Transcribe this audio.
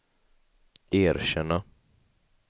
erkänna